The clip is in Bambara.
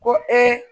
Ko